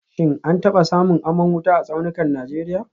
Shin an taba samun aman wuta a tsaunukan Najeriya